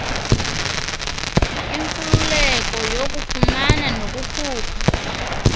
inkululeko yokufumana nokukhupha